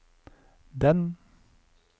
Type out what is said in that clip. den